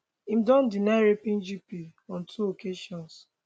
im don deny raping gp on two occasions